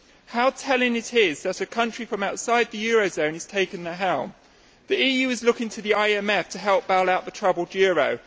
How telling it is that a country from outside the eurozone is taking the helm. The EU is looking to the IMF to help bail out the troubled euro.